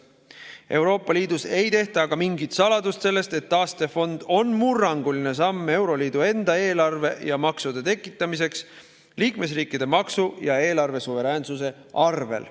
Euroopa Liidus ei tehta aga mingit saladust sellest, et taastefond on murranguline samm euroliidu enda eelarve ja maksude tekitamiseks liikmesriikide maksu‑ ja eelarvesuveräänsuse arvel.